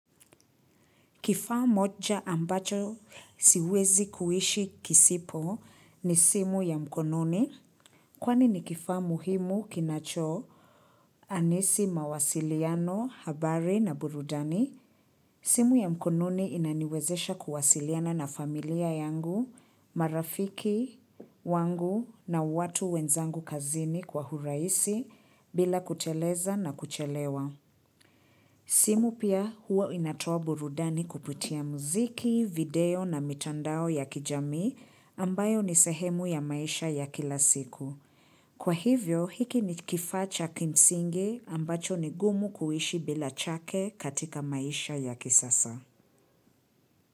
Kifaa moja ambacho siwezi kuishi kisipo ni simu ya mkononi. Kwani ni kifaa muhimu kinacho anisi mawasiliano, habari na burudani simu ya mkononi inaniwezesha kuwasiliana na familia yangu, marafiki wangu na watu wenzangu kazini kwa urahisi bila kuteleza na kuchelewa. Simu pia huwa inatoa burudani kupitia muziki, video na mitandao ya kijamii ambayo ni sehemu ya maisha ya kila siku. Kwa hivyo hiki ni kifaa cha kimsingi ambacho ni gumu kuishi bila chake katika maisha ya kisasa.